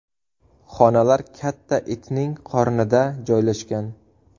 Xonalar katta itning qornida joylashgan.